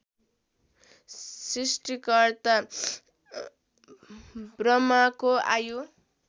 सृष्टिकर्ता ब्रह्माको आयु